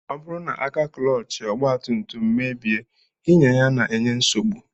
Ọ bụrụ na aka klọọchị ọgbatumtum gbabie, ịnya ya na-enye nsogbu